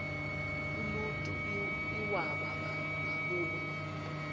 uluntu iwaba ngaboni